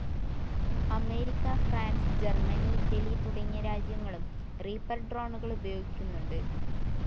America, France, Germany. Italy തുടങ്ങിയ രാജ്യങ്ങളും Reaper ഡ്രോണുകളുപയോഗിക്കുന്നുണ്ട്.